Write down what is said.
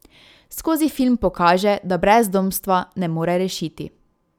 Skozi film pokaže, da brezdomstva ne more rešiti.